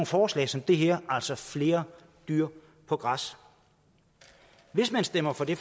forslag som det her altså om flere dyr på græs hvis man stemmer for det